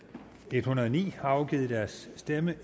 en hundrede og ni har afgivet deres stemme